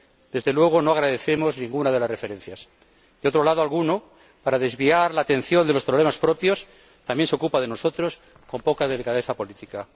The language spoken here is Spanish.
Desde luego, no agradecemos ninguna de las referencias. Por otro lado, alguno, para desviar la atención de los problemas propios, también se ocupa de nosotros con poca delicadeza política.